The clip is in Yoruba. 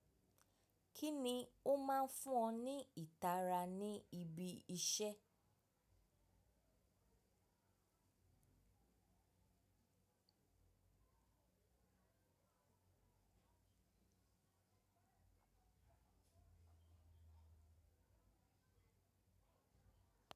Kini o maa n fun ni itara ni ibi ise?